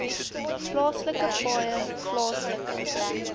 plaaslike paaie plaaslike